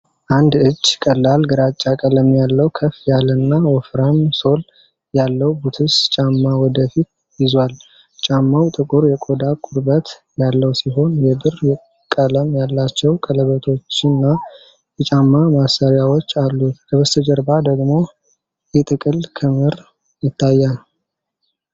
አንድ እጅ ቀላል ግራጫ ቀለም ያለው፣ ከፍ ያለና ወፍራም ሶል ያለው ቡትስ ጫማ ወደ ፊት ይዟል። ጫማው ጥቁር የቆዳ ቁርበት ያለው ሲሆን፣ የብር ቀለም ያላቸው ቀለበቶችና የጫማ ማሰሪያዎች አሉት፤ ከበስተጀርባ ደግሞ የጥቅል ክምር ይታያል።